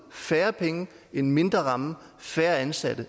færre penge en mindre ramme færre ansatte